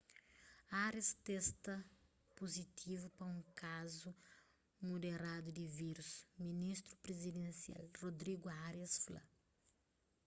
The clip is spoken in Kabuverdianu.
arias testa puzitivu pa un kazu muderadu di vírus ministru prizidensial rodrigo arias fla